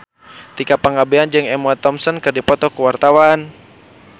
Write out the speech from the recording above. Tika Pangabean jeung Emma Thompson keur dipoto ku wartawan